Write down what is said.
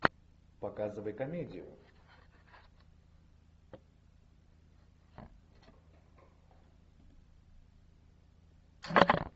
показывай комедию